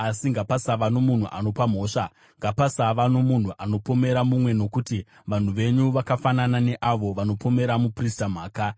“Asi ngapasava nomunhu anopa mhosva, ngapasava nomunhu anopomera mumwe nokuti vanhu venyu vakafanana neavo vanopomera muprista mhaka.